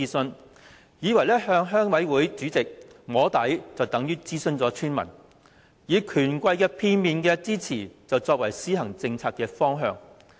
政府以為向鄉委會主席"摸底"，便等同諮詢村民，以權貴的片面之詞，作為政策的方向。